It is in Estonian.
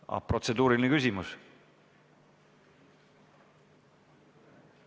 Kas Valdol on protseduuriline küsimus?